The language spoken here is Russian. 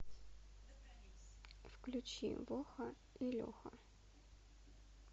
включи воха и леха